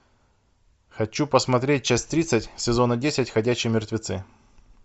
хочу посмотреть часть тридцать сезона десять ходячие мертвецы